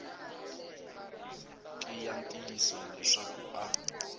ki ya ntiyiso leswaku a